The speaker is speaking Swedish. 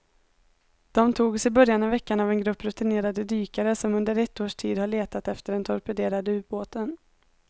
De togs i början av veckan av en grupp rutinerade dykare som under ett års tid har letat efter den torpederade ubåten.